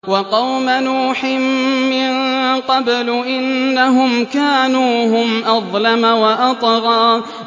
وَقَوْمَ نُوحٍ مِّن قَبْلُ ۖ إِنَّهُمْ كَانُوا هُمْ أَظْلَمَ وَأَطْغَىٰ